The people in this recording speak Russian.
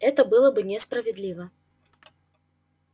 это было бы несправедливо